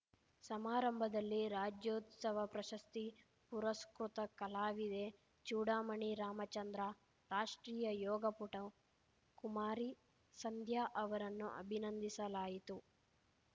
ಸಮಾರಂಭದಲ್ಲಿ ರಾಜ್ಯೋತ್ಸವ ಪ್ರಶಸ್ತಿ ಪುರಸ್ಕೃತ ಕಲಾವಿದೆ ಚೂಡಾಮಣಿ ರಾಮಚಂದ್ರ ರಾಷ್ಟ್ರೀಯ ಯೋಗಪಟು ಕುಮಾರಿ ಸಂಧ್ಯಾ ಅವರನ್ನು ಅಭಿನಂದಿಸಲಾಯಿತು